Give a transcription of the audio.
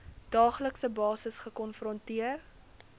daaglikse basis gekonfronteer